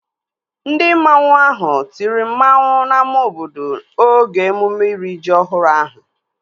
Ndị mmanwu ahụ tiri mmanwu n'ámá obodo oge emume iri ji ọhụrụ ahụ